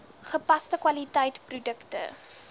gepaste kwaliteit produkte